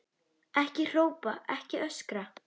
Ekki hrópa, ekki öskra!